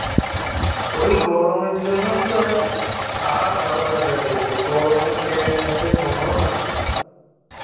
ওই গরমের জন্যই তো আজ আর ভালো লাগছে না যেতে এই গরমে train এর মধ্যে সম্ভব নাকি?